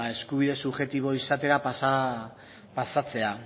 eskubide subjektibo izatera pasatzea